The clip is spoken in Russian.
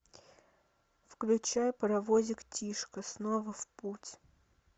включай паровозик тишка снова в путь